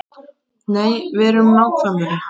Nei, verum nákvæmari.